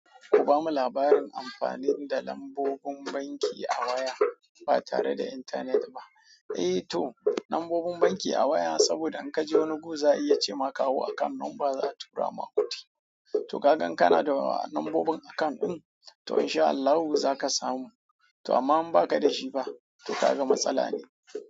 Ku bamu labarin amfanin da lambobin banki a waya ba tare da intanet ba. Eh to lambobin banki a waya saboda in ka ji wani gu za a iya cema kawo akawun numba za a tura ma kudi. To ka gan kana da lambobin akawun in to insha Allahu za ka samu. To amma in ba ka da shi pa? To ka ga matsala ne.